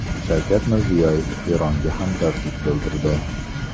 Shavkat Mirziyoyev Eronga hamdardlik bildirdi.